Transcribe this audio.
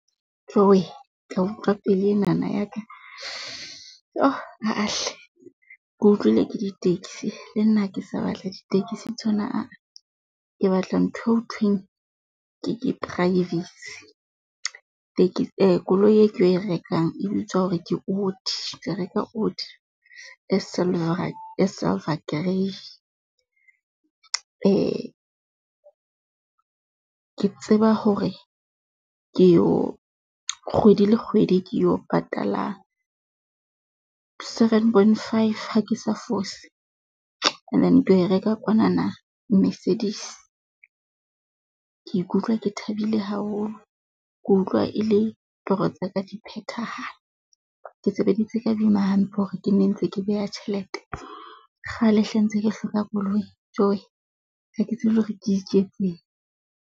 Tjowee ka utlwa pelo enana ya ka yho ah-ah hle. Ke utlwile ke di-taxi le nna ha ke sa batla di-taxi tsona aa, ke batla ntho eo hothweng ke privacy koloi e ke tlo e rekang e bitswa hore ke , ke tla reka e silver, silver grey. Ke tseba hore ke yo kgwedi le kgwedi, ke yo patala seven point five ha ke sa fose and then ke yo e reka kwanana Mercedes. Ke ikutlwa ke thabile haholo ke utlwa e le toro tsa ka di phethahala. Ke sebeditse ka boima hampe hore ke ne ntse ke beha tjhelete, kgale hle ntse ke hloka koloi. Jowee ha ke tsebe le hore ke iketseng.